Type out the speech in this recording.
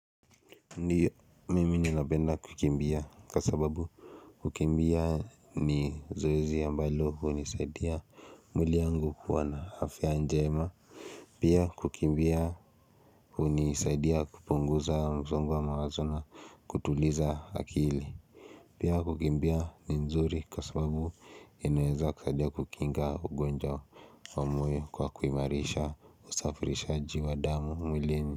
Ndiyo mimi ninapenda kukimbia kwasababu kukimbia ni zoezi ya ambalo hunisaidia mwili angu kua na afia njema Pia kukimbia unisaidia kupunguza msongo wa mawazona kutuliza akili Pia kukimbia ni nzuri kasababu inaeza kusaidia kukinga ugonjwa moyo kwa kuimarisha usafirishaji wa damu mwili.